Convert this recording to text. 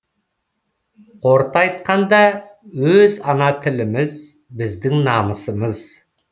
қорыта айтқанда өз ана тіліміз біздің намысымыз